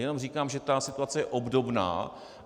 Jenom říkám, že ta situace je obdobná.